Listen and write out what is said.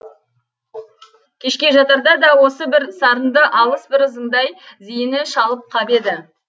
кешке жатарда да осы бір сарынды алыс бір ызыңдай зейіні шалып қап еді